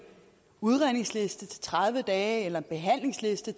udredningsliste på tredive dage eller en behandlingsliste